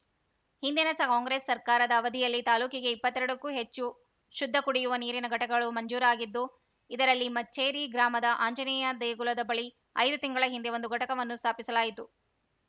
ಹಿಂದಿನ Congress ಸರ್ಕಾರದ ಅವಧಿಯಲ್ಲಿ ತಾಲೂಕಿಗೆ ಇಪ್ಪತ್ತೆರಡಕ್ಕೂ ಹೆಚ್ಚು ಶುದ್ಧ ಕುಡಿಯುವ ನೀರಿನ ಘಟಕಗಳು ಮಂಜೂರಾಗಿದ್ದು ಇದರಲ್ಲಿ ಮಚ್ಚೇರಿ ಗ್ರಾಮದ ಆಂಜನೇಯ ದೇಗುಲದ ಬಳಿ ಐದು ತಿಂಗಳ ಹಿಂದೆ ಒಂದು ಘಟಕವನ್ನು ಸ್ಥಾಪಿಸಲಾಯಿತು